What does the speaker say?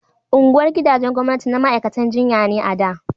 Unguwar gidajen gwamnati na ma'aikatan jinya ne a da